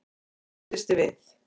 Hún kipptist við.